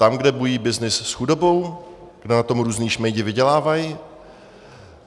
Tam, kde bují byznys s chudobou, kde na tom různí šmejdi vydělávají?